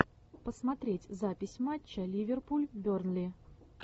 посмотреть запись матча ливерпуль бернли